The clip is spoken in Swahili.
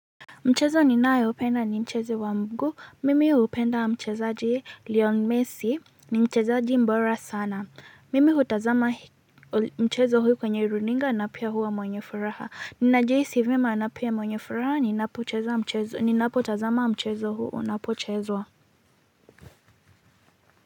Mchezo ninao upenda ni mchezo wa mguu. Mimi upenda mchezaji Leon Messi. Ni mchezaji mbora sana. Mimi hutazama mchezo huu kwenye runinga na pia huwa mwenye furaha. Nina jihisi vyema na pia mwenye furaha ninapocheza mchezo ninapo tazama mchezo huu unapo chezwa.